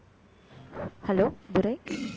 hello Durai